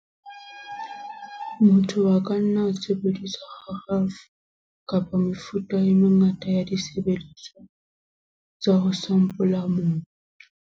Motho a ka nna a sebedisa kgarafu, kapa mefuta e mengata ya disebediswa tsa ho sampola mobu.